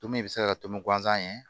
Tombou in bɛ se ka tomi guzan ɲɛ